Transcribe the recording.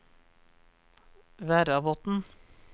Verrabotn